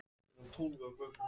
Slær sér á lær.